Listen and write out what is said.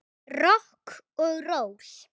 Rokk og ról.